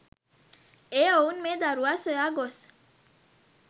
ඒ ඔවුන් මේ දරුවා සොයා ගොස්